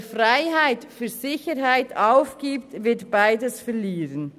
Wer Freiheit für Sicherheit aufgibt, wird beides verlieren.